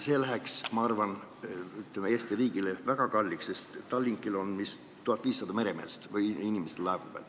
See läheks, ma arvan, Eesti riigile väga kalliks maksma, sest Tallinkil on umbes 1500 inimest laeva peal.